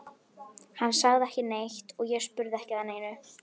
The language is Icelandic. Hann sagði ekki neitt og ég spurði ekki að neinu.